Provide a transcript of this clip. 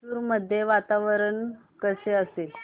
मैसूर मध्ये वातावरण कसे असेल